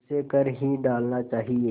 उसे कर ही डालना चाहिए